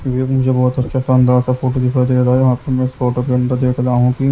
ये मुझे बहुत अच्छा शानदार सा फोटो दिखाई दे रहा है वहाँ पर मैं इस फोटो के अंदर देख रहा हूँ कि--